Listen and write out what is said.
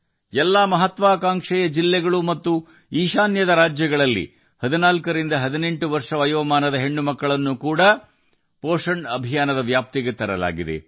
ಎಲ್ಲ ಮಹತ್ವಾಕಾಂಕ್ಷೆಯ ಜಿಲ್ಲೆಗಳು ಮತ್ತು ಈಶಾನ್ಯ ರಾಜ್ಯಗಳಲ್ಲಿ 14 ರಿಂದ 18 ವರ್ಷ ವಯಸ್ಸಿನ ಹೆಣ್ಣುಮಕ್ಕಳನ್ನು ಸಹ ಪೋಶನ್ ಅಭಿಯಾನದ ವ್ಯಾಪ್ತಿಗೆ ತರಲಾಗಿದೆ